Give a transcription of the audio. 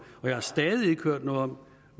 og jeg har stadig ikke hørt noget om